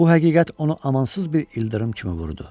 Bu həqiqət onu amansız bir ildırım kimi vurdu.